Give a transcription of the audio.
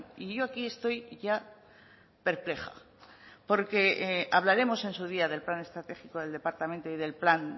y yo aquí estoy ya perpleja porque hablaremos en su día del plan estratégico del departamento y del plan